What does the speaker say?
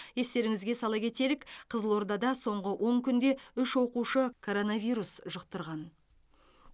естеріңізге сала кетелік қызылордада соңғы он күнде үш оқушы коронавирус жұқтырған